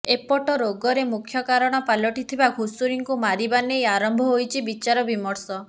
ଏପଟେ ରୋଗର ମୁଖ୍ୟ କାରଣ ପାଲଟି ଥିବା ଘୁଷୁରୀଙ୍କୁ ମାରିବା ନେଇ ଆରମ୍ଭ ହୋଇଛି ବିଚାରବିମର୍ଶ